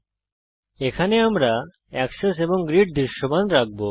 এই টিউটোরিয়ালের জন্য আমরা অক্ষ এবং গ্রিড দৃশ্যমান রাখব